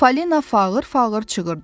Falina fağır-fağır çığırdı.